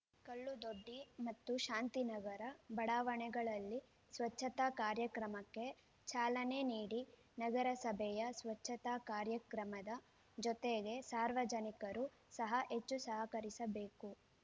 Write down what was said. ಕಲ್ಲುದೊಡ್ಡಿ ಮತ್ತು ಶಾಂತಿನಗರ ಬಡಾವಣೆಗಳಲ್ಲಿ ಸ್ವಚ್ಛತಾ ಕಾರ್ಯಕ್ರಮಕ್ಕೆ ಚಾಲನೆ ನೀಡಿ ನಗರಸಭೆಯ ಸ್ವಚ್ಛತಾ ಕಾರ್ಯಕ್ರಮದ ಜೊತೆಗೆ ಸಾರ್ವಜನಿಕರು ಸಹ ಹೆಚ್ಚು ಸಹಕರಿಸಬೇಕು